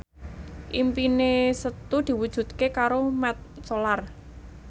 impine Setu diwujudke karo Mat Solar